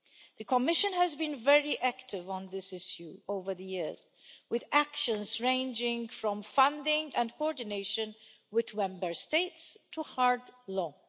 The Commission has been very active on this issue over the years, with actions ranging from funding and coordination with Member States to hard law.